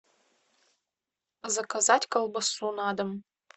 заказать колбасу на дом